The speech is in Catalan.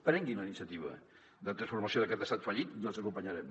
prenguin la iniciativa de transformació d’aquest estat fallit i els acompanyarem